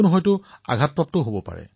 কোনোবা আঘাতপ্ৰাপ্ত হয়